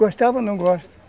Gostava, não gosto.